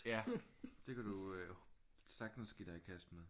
Ja det kan du sagtens give dig i kast med